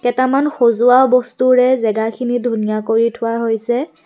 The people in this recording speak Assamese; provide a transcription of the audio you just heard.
কেইটামান সজোৱা বস্তুৰে জেগাখিনি ধুনীয়া কৰি থোৱা হৈছে।